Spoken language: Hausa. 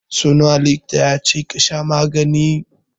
So nawa likita ya ce ka sha maganin?